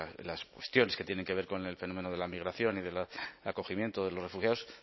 de las cuestiones que tienen que ver con el fenómeno de la migración y del acogimiento de los refugiados